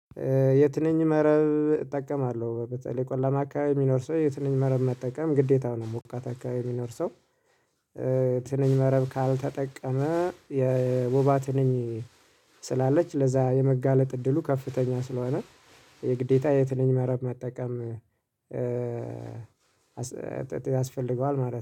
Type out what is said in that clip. የትንኝ መረብ እጠቀማለሁ በተለይ ቆላማ አካባቢ የሚኖር ሰው የትንኝ መረብ መጠቀም ግዴታው ነው ሞቃት አካባቢ የሚኖር ሰው ትልን መረብ ካልተጠቀመ የወባ ትልኝ ስላለች ለዛ የመጋለጥ እድሉ ከፍተኛ ስለሆነ የግዴታ የትንኝ መረብ መጠቀም ያስፈልገዋል ማለት ነው።